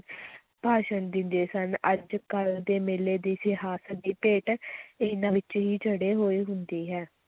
ਭਾਸ਼ਣ ਦਿੰਦੇ ਸਨ, ਅੱਜ-ਕੱਲ੍ਹ ਦੇ ਮੇਲੇ ਦੀ ਸਿਆਸਤ ਦੀ ਭੇਟ ਇਹਨਾਂ ਵਿੱਚ ਹੀ ਚੜ੍ਹੇ ਹੋਏ ਹੁੰਦੀ ਹੈ।